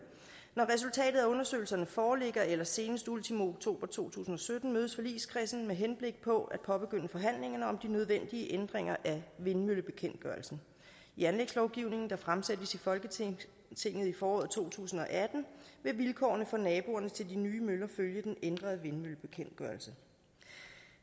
når resultatet af undersøgelserne foreligger eller senest ultimo oktober to tusind og sytten mødes forligskredsen med henblik på at påbegynde forhandlingerne om de nødvendige ændringer af vindmøllebekendtgørelsen i anlægslovgivningen der fremsættes i folketinget i foråret to tusind og atten vil vilkårene for naboerne til de nye møller følge den ændrede vindmøllebekendtgørelse